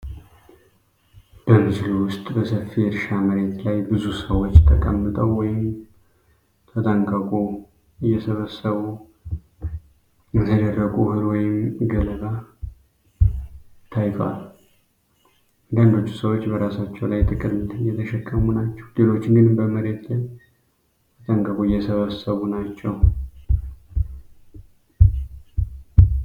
በምስሉ ውስጥ በሰፊ እርሻ መሬት ላይ ብዙ ሰዎች ተቀምጠው ወይም ተጠንቀቁ እየሰበሰቡ የተደረቁ እህል ወይም ገለባ ታይቷል። አንዳንዶቹ ሰዎች በራሳቸው ላይ ጥቅል እየተሸከሙ ናቸው፣ ሌሎች ግን በመሬት ላይ ተጠንቀቁ እየሰበሰቡ ናቸው።